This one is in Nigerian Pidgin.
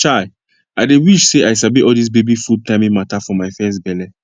chai i dey wish say i sabi all dis baby food timing mata for my first belle